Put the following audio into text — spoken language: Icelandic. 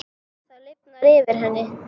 Það lifnar yfir henni.